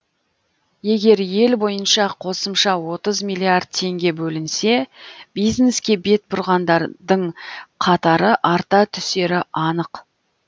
егер ел бойынша қосымша отыз миллиард теңге бөлінсе бизнеске бет бұрғандар дың қатары арта түсері анық